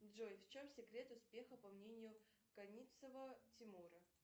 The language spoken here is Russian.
джой в чем секрет успеха по мнению коницева тимура